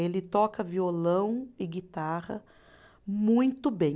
Ele toca violão e guitarra muito bem.